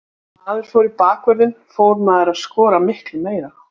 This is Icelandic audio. Eftir að maður fór í bakvörðinn fór maður að skora miklu meira.